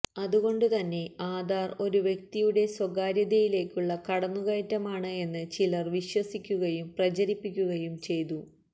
അതുകൊണ്ട് തന്നെ ആധാര് ഒരു വ്യക്തിയുടെ സ്വകാര്യതയിലേക്കുള്ള കടന്നു കയറ്റമാണ് എന്ന് ചിലര് വിശ്വസിപ്പിക്കുകയും പ്രചരിപ്പിക്കുകയും ചെയ്തു